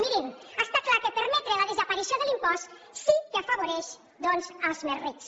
mirin està clar que permetre la desaparició de l’impost sí que afavoreix doncs els més rics